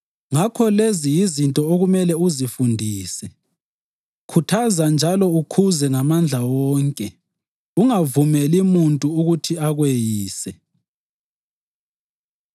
Ngakho lezi yizinto okumele uzifundise. Khuthaza njalo ukhuze ngamandla wonke. Ungavumeli muntu ukuthi akweyise.